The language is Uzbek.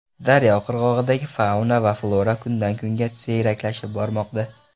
Daryo qirg‘og‘idagi fauna va flora kundan-kunga siyraklashib bormoqda.